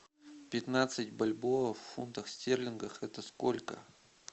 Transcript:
пятнадцать бальбоа в фунтах стерлингах это сколько